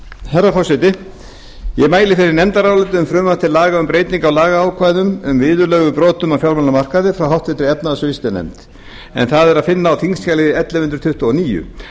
herra forseti ég mæli fyrir nefndaráliti um frumvarp til laga um breytingu á lagaákvæðum um viðurlög við brotum á fjármálamarkaði frá háttvirtri efnahags og viðskiptanefnd en það er að finna á þingskjali ellefu hundruð tuttugu og níu